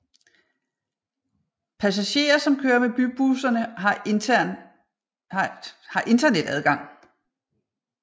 Passagerer som kører med bybusserne har internet adgang